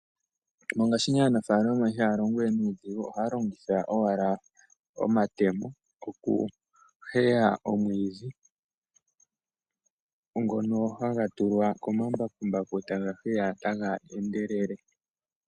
Mongaashingeyi aanafalama ihaya longo we nuudhigu, ohaya longitha owala omatemo okuheya omwiidhi, ngono haga tulwa komambakumbaku, e taga heya taga endelele.